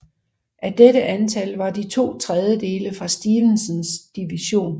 Af dette antal var de to tredjedele fra Stevensons division